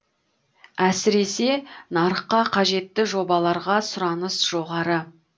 әсіресе нарыққа қажетті жобаларға сұраныс жоғары